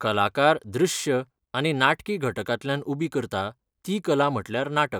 कलाकार दृश्य आनी नाटकी घटकांतल्यान उबी करता ती कला म्हटल्यार नाटक.